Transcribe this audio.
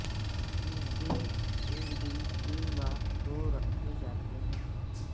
اس دن ایک دن تین بار دو رکھے جاتے ہیں